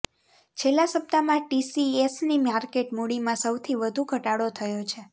છેલ્લા સપ્તાહમાં ટીસીએસની માર્કેટ મૂડીમાં સૌથી વધુ ઘટાડો થયો છે